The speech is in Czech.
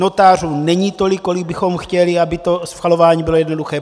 Notářů není tolik, kolik bychom chtěli, aby to schvalování bylo jednoduché.